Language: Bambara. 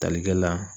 Talikɛ la